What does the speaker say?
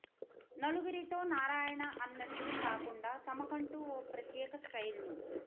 నలుగురితో నారాయణ అన్నట్టు కాకుండా తమ కంటూ ఓ ప్రత్యేక స్టైల్ను